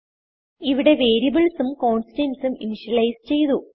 ഇവിടെ വേരിയബിൾസ് ഉം കോൺസ്റ്റന്റ്സ് ഉം ഇന്ത്യലൈസ് ചെയ്തു